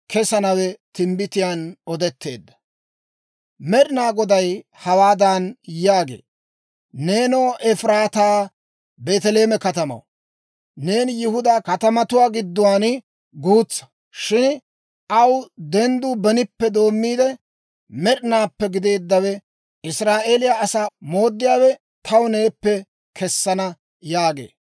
Med'ina Goday hawaadan yaagee; «Neenoo Efiraataa, Beeteleeme katamaw, neeni Yihudaa katamatuwaa giddon guutsaa; shin aw dendduu benippe doommiide, med'inaappe gideeddawe, Israa'eeliyaa asaa mooddiyaawe taw neeppe kesana» yaagee.